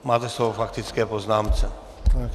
Máte slovo k faktické poznámce.